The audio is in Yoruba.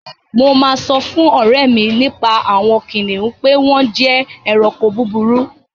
Mo máa sọ fún ọ̀rẹ́ mi nípa àwon kìnìún pe wón je eranko búburú